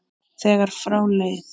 þegar frá leið.